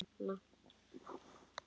Heilu hverfin lögðust yfir melana.